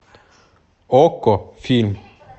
окко фильм